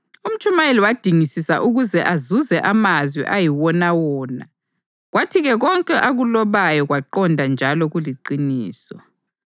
UMtshumayeli wadingisisa ukuze azuze amazwi ayiwonawona, kwathi-ke konke akulobayo kwaqonda njalo kuliqiniso.